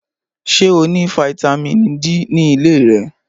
Ṣé o ní fataímìn D ní ilé rẹ?